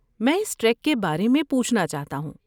میں اس ٹریک کے بارے میں پوچھنا چاہتا ہوں۔